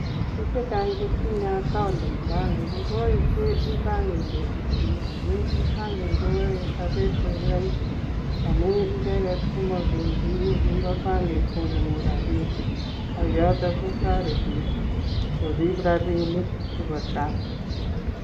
Biik chechang che tinye (account) ing bengi amu E-banking koyoe lipanet koek raisi amuu icheget ko mapendi bengi ipkocheru rabinik.